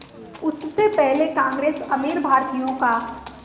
उससे पहले कांग्रेस अमीर भारतीयों का